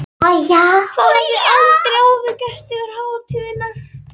Það hafði aldrei áður gerst yfir hátíðarnar.